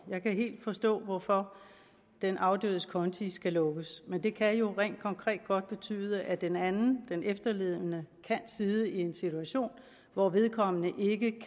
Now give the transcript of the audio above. jeg kan helt forstå hvorfor den afdødes konti skal lukkes men det kan jo rent konkret godt betyde at den anden den efterlevende kan sidde i en situation hvor vedkommende ikke